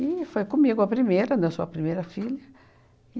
E foi comigo a primeira, né, eu sou primeira filha.